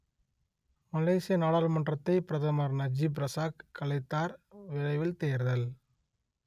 மலேசிய நாடாளுமன்றத்தை பிரதமர் Najib Razak கலைத்தார் விரைவில் தேர்தல்